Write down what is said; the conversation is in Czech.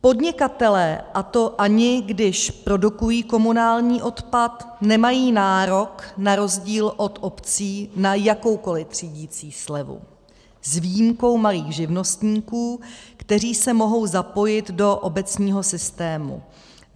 Podnikatelé, a to ani když produkují komunální odpad, nemají nárok na rozdíl od obcí na jakoukoliv třídicí slevu, s výjimkou malých živnostníků, kteří se mohou zapojit do obecního systému.